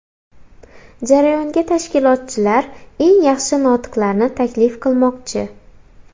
Jarayonga tashkilotchilar eng yaxshi notiqlarni taklif qilmoqchi.